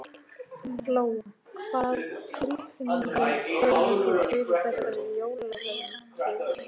Lóa: Hvað tilfinningu hefur þú fyrir þessari jólavertíð?